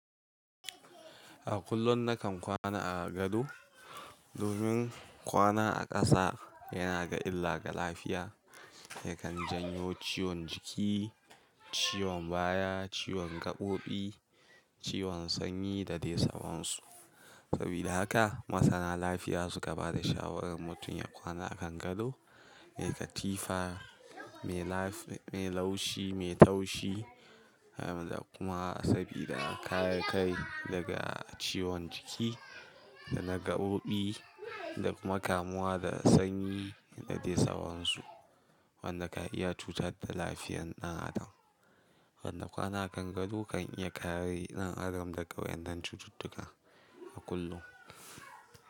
A kullum nakan kwana a gado domin kwana a ƙasa yana illaga lafiya yakan janyo ciwon jiki, ciwon baya, ciwon gaɓoɓi, ciwon sanyi da dai sawansu. Sabida haka masana lafiya suka bada shawarar mutum ya kwana a kan gado mai katifa mai laushi, mai taushi da kuma sabida kayayyaki daga ciwon jiki da na gaɓoɓi da kuma kamuwa da sanyi da dai sawansu wanda ka iya cutar da lafiyar ɗan adam. Wanda kwana a kan gado kan iya kare ɗan adam daga waɗannan cututtuka a kullum.